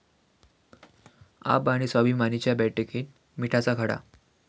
आप'आणि 'स्वाभिमानी'च्या बैठकीत 'मिठाचा खडा'